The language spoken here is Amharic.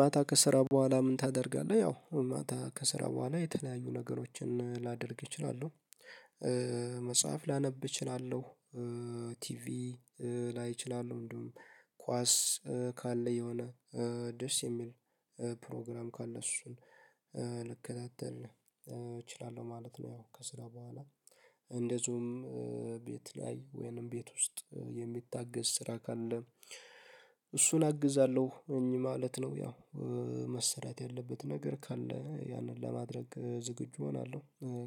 ማታ ከስራ በኋላ ምን ታደርጋለህ? ያው ማታ ከስራ በኋላ የተለያዩ ነገሮችን ላደርግ እችላለሁ። መጽሐፍ ላነብ እችላለሁ። ቲቪ ላይ እችላለሁ እንደውም ኳስ ካለ የሆነ ደስ የሚል ፕሮግራም ካለ እሱን ልከታተል እችላለሁ ማለት ነው። ከስራ በኋላ እንደዚሁም ቤት ላይ ወይንም ቤት ውስጥ የሚታገዝ ስራ ካለ እሱን አግዛለሁ እኚህ ማለት ነው። ያው መሰራት ያለበት ነገር ካለ ያንን ለማድረግ ዝግጁ እሆናለሁ